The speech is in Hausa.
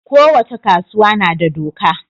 ko wace kasuwa nada doka